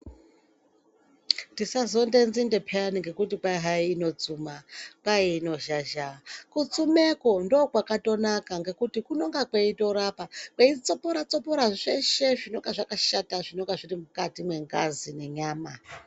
Tisazonde nzinde pheyani ngekuti kwai hayi inozhazha, kwai inotsuma. Kutsumekwo ndokwakatonaka ngekuti kunonga kweitorapa, kweitsopora-tsopora zveshe zvinonga zvakashata zvinonga zviri mukati mwengazi nenyama.